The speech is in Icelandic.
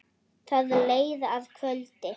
Það leið að kvöldi.